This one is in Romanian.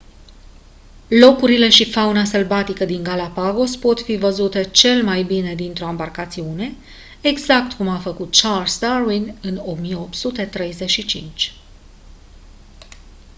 locurile și fauna sălbatică din galapagos pot fi văzute cel mai bine dintr-o ambarcațiune exact cum a făcut charles darwin în 1835